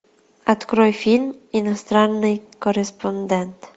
открой фильм иностранный корреспондент